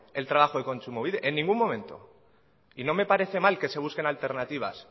el trabajo de kontsumobide en ningún momento y no me parece mal que se busquen alternativas